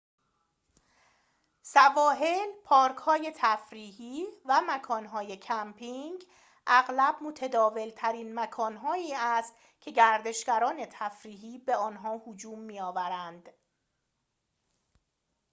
سواحل پارک‌های تفریحی و مکان‌های کمپینگ اغلب متداول‌ترین مکان‌هایی است که گردشگران تفریحی به آنها هجوم می‌آورند